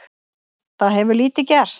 Það hefur lítið gerst.